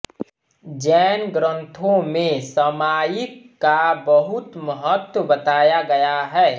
जैन ग्रन्थो में सामायिक का बहुत महत्व बताया गया है